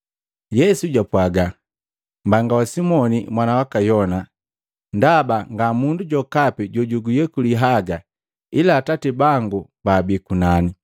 Yesu jwapwaga, “Mbanga wa Simoni mwana waka Yona, ndaba nga mundu jokapi jojukuyekuli haga ila Atati bangu baabi kunani.